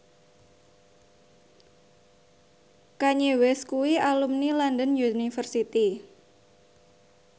Kanye West kuwi alumni London University